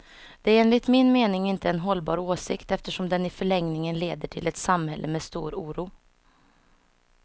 Det är enligt min mening inte en hållbar åsikt, eftersom den i förlängningen leder till ett samhälle med stor oro.